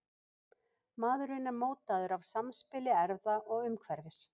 Maðurinn er mótaður af samspili erfða og umhverfis.